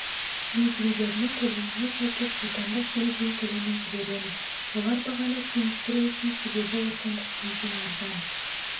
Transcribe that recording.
бензиндерінің көлеміне сәйкес отандық бензин көлемін жібереміз олар бағаны теңестіру үшін себебі отандық бензин арзан